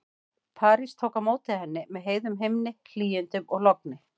París tók á móti henni með heiðum himni, hlýindum og logni.